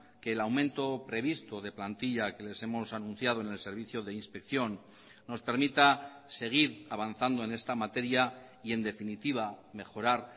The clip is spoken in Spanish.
que el aumento previsto de plantilla que les hemos anunciado en el servicio de inspección nos permita seguir avanzando en esta materia y en definitiva mejorar